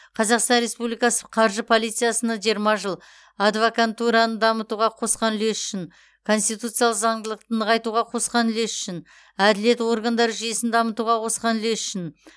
казахстан республикасы қаржы полициясына жиырма жыл адвокантураны дамытуға қосқан улесі үшін конституциялық заңдылықты нығайтуға қосқан үлесі үшін әділет органдары жүйесін дамытуға қосқан үлесі үшін